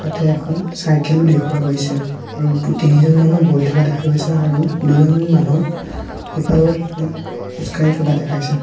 ইয়াতে এখন চাইকেল ও দেখুওৱা গৈছে আৰু দু তিনিজন মানুহ বহি থকা দেখা গৈছে আৰু দুজন মানুহ ইফালৰ পৰা সিফাল খোজ কাঢ়ি থকা দেখাইছে।